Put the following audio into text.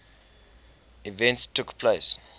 events took place